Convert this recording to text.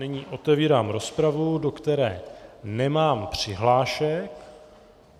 Nyní otevírám rozpravu, do které nemám přihlášky.